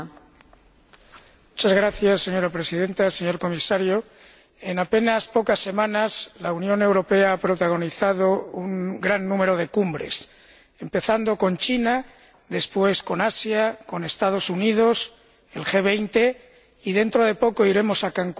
Señora Presidenta, señor Comisario, en apenas pocas semanas la Unión Europea ha protagonizado un gran número de cumbres, empezando con China, después con Asia, con los Estados Unidos, el G 20, dentro de poco iremos a Cancún y la próxima semana